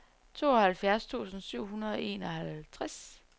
treoghalvfjerds tusind syv hundrede og enoghalvtreds